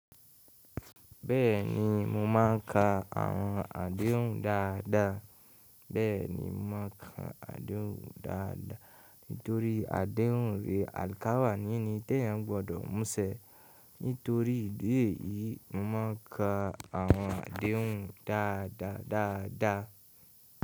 Bẹ́ẹ̀ni, mo máa ń ka àwọn àdéhùn dáadáa. Bẹ́ẹ̀ni, mo máa ń ka àdéhùn dáadáa. Nítorí àdéhùn rẹ̀ àlkàwá nìní tí èèyàn gbọdọ̀ mú sẹ. Nítorí ìdí èyí, mo máa ń ka àwọn àdéhùn dáadáa dáadáa.